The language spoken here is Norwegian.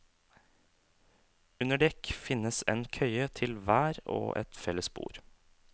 Under dekk finnes en køye til hver og et felles bord.